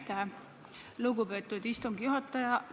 Aitäh, lugupeetud istungi juhataja!